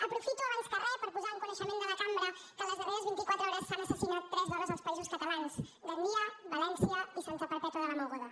aprofito abans que re per posar en coneixement de la cambra que en les darreres vint i quatre hores s’han assassinat tres dones als països catalans gandia valència i santa perpètua de la mogoda